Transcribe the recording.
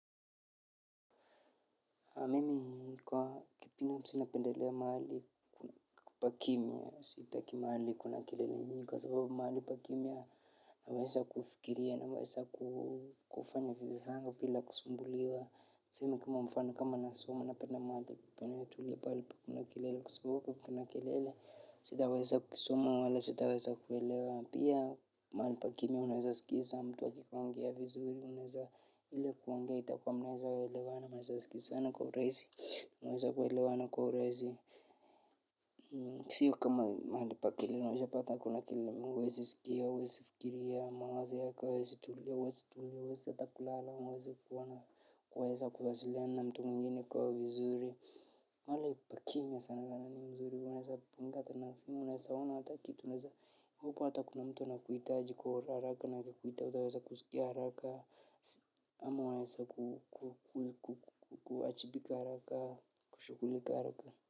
Mimi kwa kibinafsi napendelea mahali pa kimya, sitaki mahali kuna kelele nyingi kwa sababu mahali pa kimya naweza kufikiria naweza kufanya vitu zangu bila kusumbuliwa. Tuseme kama mfano kama nasoma napenda mahali panayotulia pahali hakuna kelele kwa sababu kuna kelele. Sitaweza kusoma wala sitaweza kuelewa pia mahali pa kimya unaweza sikiza mtu akiongea vizuri unaweza ile kuongea itakuwa mnaweza elewana mnaweza sikizana kwa urahisi mnaweza kuelewana kwa urahisi siyo kama mahali pa kelele unajua pahali kama kuna kelele mingi huwezi sikia, huwezi fikiria, mawazo yako hayawezi tulia, huwezi hata kulala, huwezi kuona kuweza kuwasiliana na mtu mingine kwa vizuri. Mahali pa kimya sana sana ni mzuri, unaweza punga hata nafsi na unaweza ona hata kitu, unaweza upo hata kuna mtu anakuhitaji kwa haraka, na akikuita hautaweza kusikia haraka, ama unaweza kuwajibika haraka, kushughulika haraka.